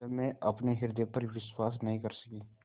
जब मैं अपने हृदय पर विश्वास नहीं कर सकी